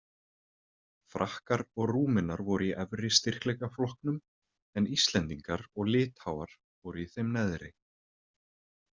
Frakkar og Rúmenar voru í efri styrkleikaflokknum en Íslendingar og Litháar voru í þeim neðri.